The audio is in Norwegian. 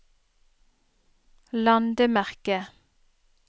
landemerke